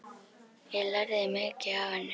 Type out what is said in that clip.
Ég lærði mikið af henni.